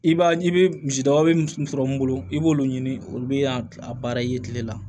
I b'a i bɛ misidaba min sɔrɔ mun bolo i b'olu ɲini olu bɛ yan a baara i ye kile la